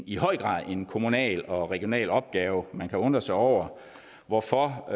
i høj grad er en kommunal og regional opgave man kan undre sig over hvorfor